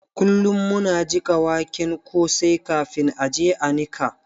Kullum muna jiƙa waken kosai kafin a je a niƙa.